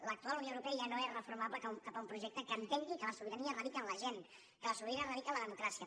l’actual unió europea ja no és reformable cap a un projecte que entengui que la sobirania radica en la gent que la sobirania radica en la democràcia